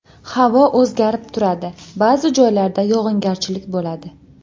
Havo o‘zgarib turadi, ba’zi joylarda yog‘ingarchilik bo‘ladi.